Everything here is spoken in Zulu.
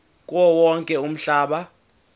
kuwo wonke umhlaba